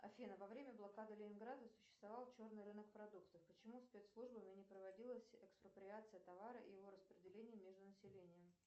афина во время блокады ленинграда существовал черный рынок продуктов почему спецслужбами не проводилась экспроприация товара и его распределение между населением